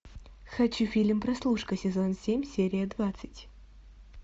хочу фильм прослушка сезон семь серия двадцать